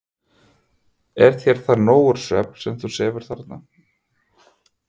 Er þér það nógur svefn, sem þú sefur þarna?